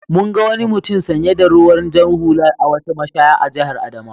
Mun ga wani mutum sanye da ruwan jar hula a wata mashaya a jihar Adamawa.